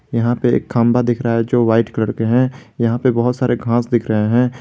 यहां पे एक खंभा दिख रहा है जो वाइट कलर के हैं यहां पे बहुत सारे घास दिख रहे हैं।